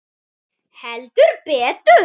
Heldur betur.